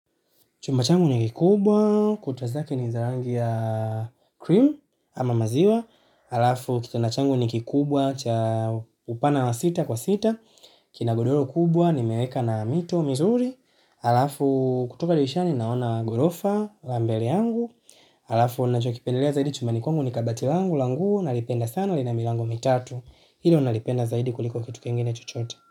Chumba changu ni kikubwa, kuta zake ni za rangi ya cream, ama maziwa, alafu kitanda changu ni kikubwa cha, upana na sita kwa sita, kinagodoro kubwa, nimeweka na mito, mizuri, alafu kutoka dirishani naona gorofa, la mbele yangu, alafu nachokipendelea zaidi chumbani kwangu ni kabati langu, langu, nalipenda sana lina milango mitatu, nalipenda zaidi kuliko kitu kingine chochote.